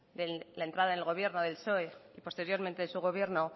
de la entrada del gobierno del psoe y posteriormente de su gobierno